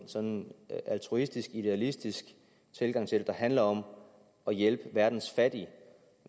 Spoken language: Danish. sådan en altruistisk idealistisk tilgang til det der handler om at hjælpe verdens fattige